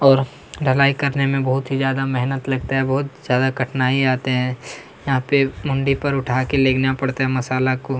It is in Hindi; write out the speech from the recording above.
और ढलाई करने में बहुत ही ज्यादा मेहनत लगता है बोहोत ज्यादा कठिनाई आते है यहाँ पे मुंडी पर उठाकर लेगना पड़ता है मसाला को --